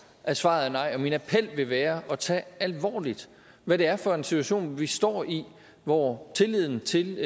at svaret er nej og min appel vil være at tage alvorligt hvad det er for en situation vi står i hvor tilliden til